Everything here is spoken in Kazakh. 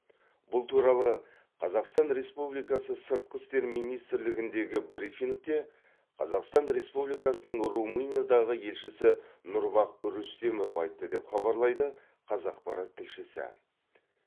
бұл туралы қазақстан республикасы сыртқы істер министрлігіндегі брифингте қазақстан республикасының румыниядағы елшісі нұрбах рүстемов айтты деп хабарлайды қазақпарат тілшісі